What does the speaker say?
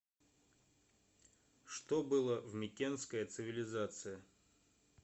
что было в микенская цивилизация